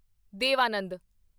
ਦੇਵ ਆਨੰਦ